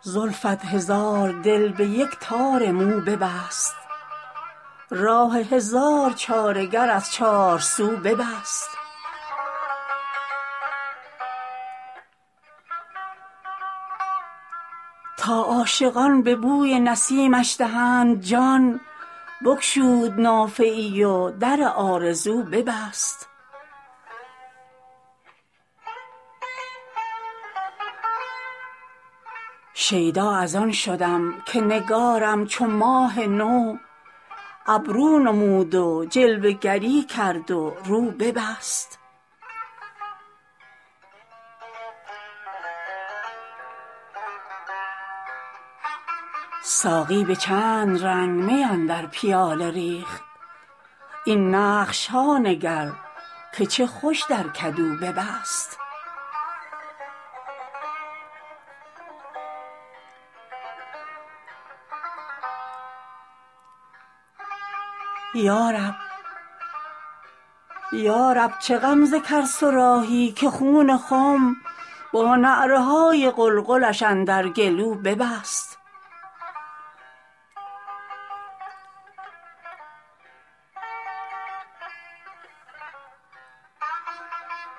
زلفت هزار دل به یکی تار مو ببست راه هزار چاره گر از چارسو ببست تا عاشقان به بوی نسیمش دهند جان بگشود نافه ای و در آرزو ببست شیدا از آن شدم که نگارم چو ماه نو ابرو نمود و جلوه گری کرد و رو ببست ساقی به چند رنگ می اندر پیاله ریخت این نقش ها نگر که چه خوش در کدو ببست یا رب چه غمزه کرد صراحی که خون خم با نعره های قلقلش اندر گلو ببست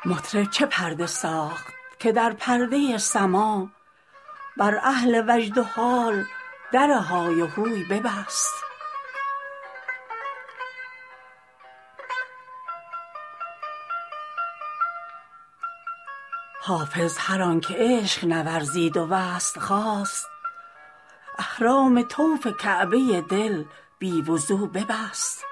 مطرب چه پرده ساخت که در پرده سماع بر اهل وجد و حال در های وهو ببست حافظ هر آن که عشق نورزید و وصل خواست احرام طوف کعبه دل بی وضو ببست